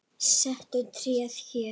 Settu tréð hér.